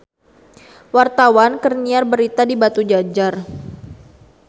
Wartawan keur nyiar berita di Batujajar